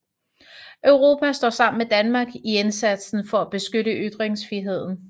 Europa står sammen med Danmark i indsatsen for at beskytte ytringsfriheden